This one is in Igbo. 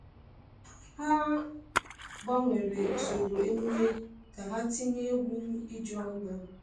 Ha gbanwere usoro emume ka ha tinye egwu ijuanya.